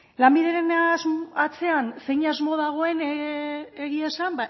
lanbideren atzean zein asmo dagoen egia esan